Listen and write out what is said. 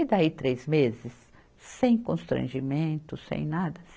E daí três meses sem constrangimento, sem nada?